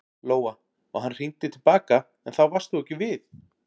Lóa: Og hann hringdi til baka en þá varst þú ekki við?